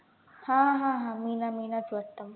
हा हा हा मीना मीनाचं वाटतं